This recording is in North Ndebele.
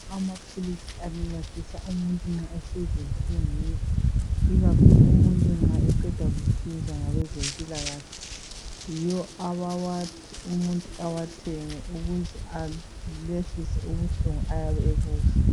Amaphilisi ancedisa umuntu nxa esezinhlungwini ikakhulu umuntu nxa eqeda kuhlinzwa ngabezempilakahle. Yibo abawathi umuntu awathenge ukuze ayehlise ubuhlungu ayabe ebuzwa.